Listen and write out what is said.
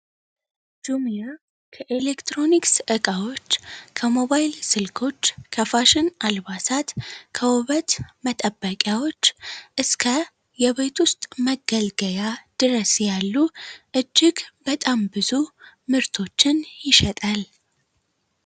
ከኤሌክትሮኒክስ እቃዎች ከሞባይል ስልኮች ከፋሽን አልባሳት መጠበቂያዎች እስከ የቤት ውስጥ መገልገያ ድረስ ያሉ እጅግ በጣም ብዙ ምርቶችን ይሸጣል